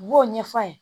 U b'o ɲɛf'a ye